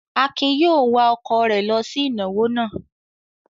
Akin yóò wa ọkọ̀ rẹ̀ lọ sí ìnáwó náà.